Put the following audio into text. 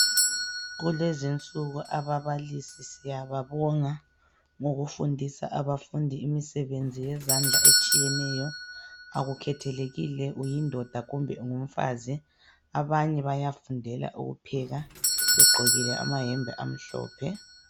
Kulezi insuku ababalisi siyababonga ngokufundisa abafundi imisebenzi yezandla etshiyeneyo akukhethelekile uyindoda kumbe ungumfazi abanye bayafundela ukupheka begqokile amayembe amhlophe.